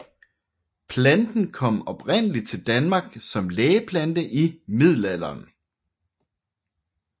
Planten kom oprindelig til Danmark som lægeplante i middelalderen